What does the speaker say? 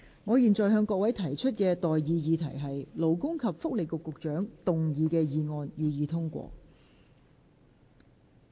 我現在向各位提出的待議議題是：勞工及福利局局長動議的議案，予以通過。